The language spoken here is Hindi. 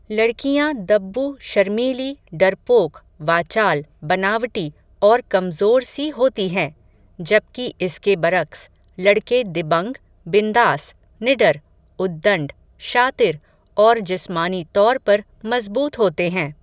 लड़कियां दब्बू शर्मीली डरपोक वाचाल बनावटी और कमज़ोर सी होती हैं, जबकि इसके बरक्स, लड़के दबंग बिंदास निडर उद्दण्ड शातिर और जिस्मानी तौर पर मज़बूत होते हैं